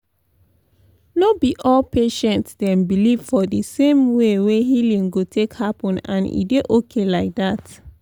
no be all patients dey believe for di same way wey healing go take happen and e dey okay like dat.